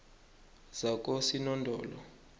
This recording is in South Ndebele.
zakosinodolo